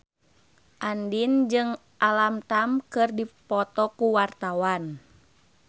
Andien jeung Alam Tam keur dipoto ku wartawan